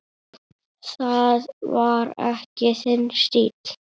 Það var ekki þinn stíll.